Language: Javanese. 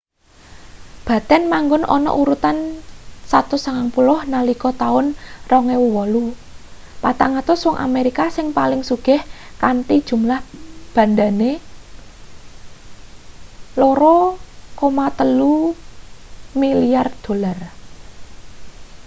batten manggon ana urutan 190 nalika taun 2008 400 wong amerika sing paling sugih kanthi jumlah bandhane $2.3 milyar